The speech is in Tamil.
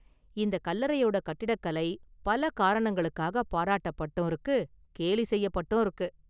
இந்த கல்லறையோட கட்டிடக்கலை பல காரணங்களுக்காக பாராட்டப்பட்டும் இருக்கு கேலி செய்யப்பட்டும் இருக்கு.